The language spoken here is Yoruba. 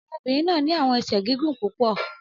Ọmọbirin naa ni awọn ẹsẹ gigun pupọ